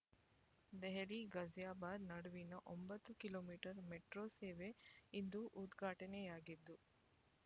ದೆಹಲಿ ಘಾಜಿಯಾಬಾದ್ ನಡುವಿನ ಒಂಬತ್ತು kilometre metro ಸೇವೆ ಇಂದು ಉದ್ಘಾಟನೆಯಾಗಿದ್ದು